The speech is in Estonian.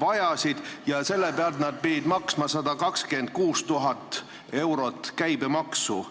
vajasid, ja selle summa pealt nad pidid maksma 126 000 eurot käibemaksu.